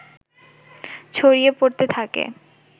ছড়িয়ে পড়তে থাকে